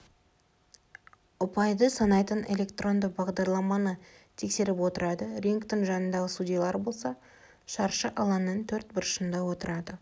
ұпайды санайтын электронды бағдарламаны тексеріп отырады рингтің жанындағы судьялар болса шаршы алаңның төрт бұрышында отырады